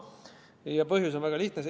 Ja põhjus on väga lihtne.